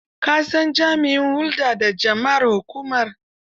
Ka san jami'in hulda da jama'ar hukumar?